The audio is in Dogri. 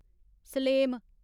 सलेम